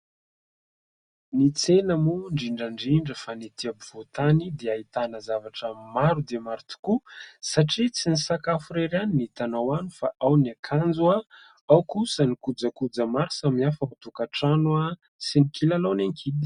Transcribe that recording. Ny tsena moa indrindra indrindra fa ny etỳ ampovoantany dia ahitana zavatra maro dia maro tokoa satria tsy ny sakafo irery ihany ny hitanao any fa ao ny akanjo, ao kosa ny kojakoja maro samy hafa ao an-tokatrano sy ny kilalaon'ny ankizy.